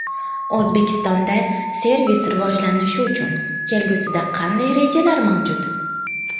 O‘zbekistonda servis rivojlanishi uchun kelgusida qanday rejalar mavjud?